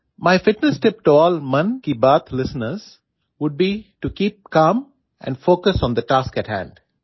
my fitness tip to all Mann ki Baat listeners would be to keep calm and focus on the task ahead